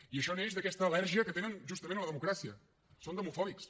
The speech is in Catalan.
i això neix d’aquesta al·lèrgia que tenen justament a la democràcia són demofòbics